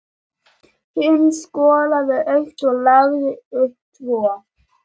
Hinn skoraði eitt og lagði upp tvö.